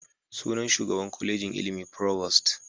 Suna Shugaban Kwalejin ilimi provost.